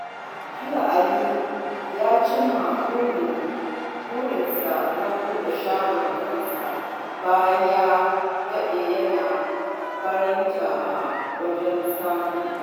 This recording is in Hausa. Jiya Ali ya cimma burinsa na buɗe shagon kansa bayan ya daɗe yana baranta a wajen Saminu